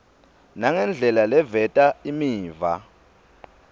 nangendlela leveta imiva